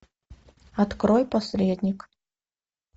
открой посредник